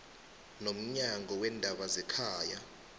nomnyango weendaba zekhaya